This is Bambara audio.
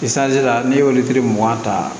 la ne y'olu mugan ta